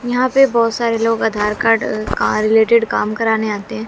यहीं पे बहुत सारे लोग आधार कार्ड अह रिलेटेड काम कराने आते हैं।